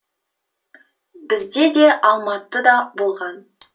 бізде де алматы да болған